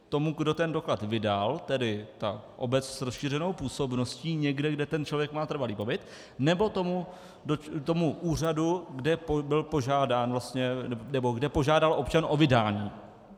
Tomu, kdo ten doklad vydal, tedy té obci s rozšířenou působností někde, kde ten člověk má trvalý pobyt, nebo tomu úřadu, kde požádal občan o vydání?